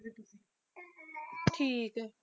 ਠੀਕ ਹੈ।